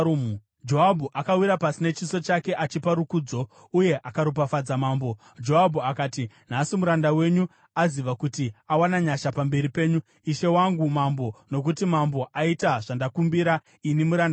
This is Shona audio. Joabhu akawira pasi nechiso chake achipa rukudzo, uye akaropafadza mambo. Joabhu akati, “Nhasi muranda wenyu aziva kuti awana nyasha pamberi penyu, ishe wangu mambo, nokuti mambo aita zvandakumbira ini muranda wake.”